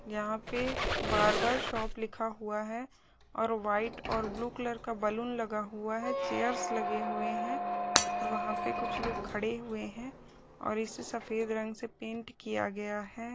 यहाँ पे barber shop लिखा हुआ है और व्हाइट और ब्लू कलर का बैलून लगा हुआ है चेयर्स लगे हुए है और वहाँ पे कुछ लोग खड़े हुए है और इसे सफेद रंग से पेंट किया गया हैं।